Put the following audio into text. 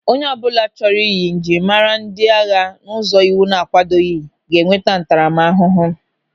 Onye ọbụla chọrọ ịyị njirimara ndị agha n'ụzọ iwu na-akwadoghị ga-enweta ntaramahụhụ.